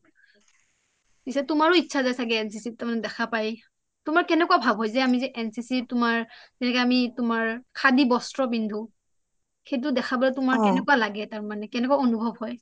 পিছে তোমাৰৰো ইচ্ছা যায় চাগে NCC ত তাৰ মানে দেখা পায় তোমাৰ কেনেকুৱা ভাৱ হয় যে আমি যেNCC ত তোমাৰ যেনেকে আমি খাদী বস্ত্ৰ পিন্ধু সেইটো দেখা পালে তোমাৰ কেনেকুৱা লাগে কেনেকুৱা অনুভৱ হয়